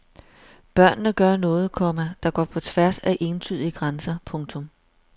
Børnene gør noget, komma der går på tværs af entydige grænser. punktum